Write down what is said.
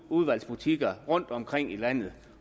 udvalgsvarebutikker rundtomkring i landet